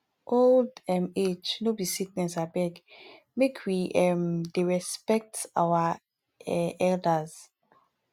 old um age no be sickness abeg make we um dey respect our um elders